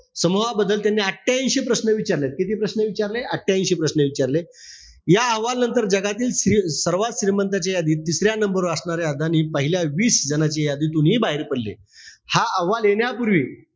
समूहाबद्दल त्यांनी अठ्यांशी प्रश्न विचारले. किती प्रश्न विचारले? अठ्यांशी प्रश्न विचारले. या अहवालनंतर जगातील श्रि सर्वात श्रीमंत जे, तिसऱ्या number वर असणारे अदानी, पहिल्या वीस जणांच्या यादीतूनही बाहेर पडले. हा अहवाल येण्यापूर्वी,